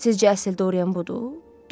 Sizcə əsl Doryan budur?